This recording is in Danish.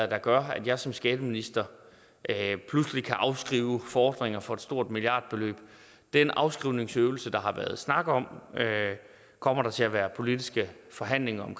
der gør at jeg som skatteminister pludselig kan afskrive fordringer for et stort milliardbeløb den afskrivningsøvelse der har været snak om kommer der til at være politiske forhandlinger om